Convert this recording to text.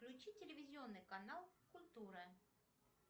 включи телевизионный канал культура